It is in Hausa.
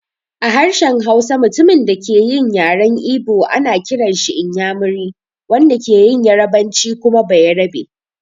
A harshen Hausa, mutumin da ke yin yaren Igbo ana kiranshi "inyamiri", wanda ke yin yarbanci kuma "bayarabe".